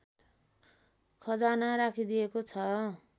खजाना राखिदिएको छ